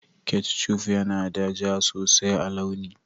ketchuf yana da ja sosai a launi